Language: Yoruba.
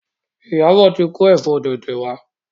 Iyabo tí ko efo tete wá.